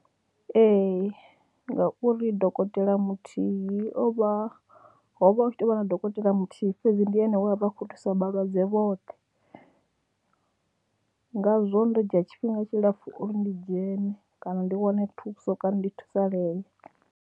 Ee, ngauri dokotela muthihi o vha, ho vha hu tshi tou vha na dokotela muthihi fhedzi ndi ene we a vha a khou thusa vhalwadze vhoṱhe ngazwo ndo dzhia tshifhinga tshilapfhu uri ndi dzhene kana ndi wane thuso kana ndi thusalee.